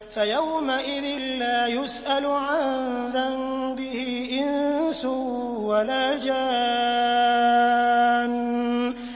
فَيَوْمَئِذٍ لَّا يُسْأَلُ عَن ذَنبِهِ إِنسٌ وَلَا جَانٌّ